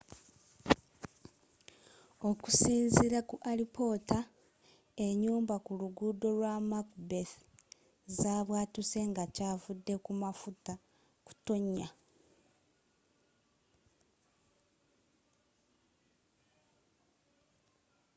okusinziira ku alipoota enyumba ku luguudo lwa macbeth zabwatuse nga kyavudde ku mafuta kutonya